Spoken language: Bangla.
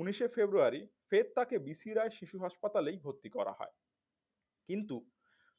উনিশে ফেব্রুয়ারী ফের তাকে বি সি রায় শিশু হাসপাতালেই ভর্তি করা হয়। কিন্তু